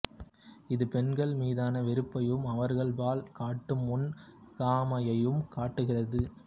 இது பெண்கள் மீதான வெறுப்பையும் அவர்கள்பால் காட்டும் முன்பகைமையையும் காட்டுகிறது